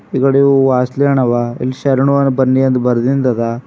ಈಕಡೆ ಅವ ಇಲ್ಲಿ ಶರಣು ಬನ್ನಿ ಅಂತ ಬರ್ದಿನ್ದ ಅದ.